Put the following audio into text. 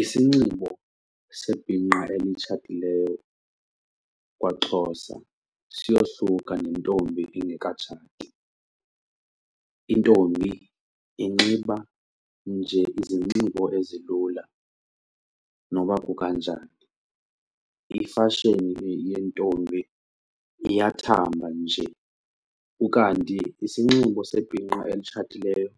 Isinxibo sebhinqa elitshatileyo kwaXhosa siyohluka nentombi engekatshati. Intombi inxiba nje izinxibo ezilula noba kukanjani. Ifashoni yentombi iyathamba nje. Ukanti isinxibo sebhinqa elitshatileyo